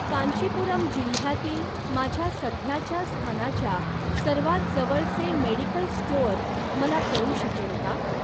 कांचीपुरम जिल्ह्यातील माझ्या सध्याच्या स्थानाच्या सर्वात जवळचे मेडिकल स्टोअर मला कळू शकेल का?